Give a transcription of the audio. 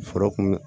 Foro kun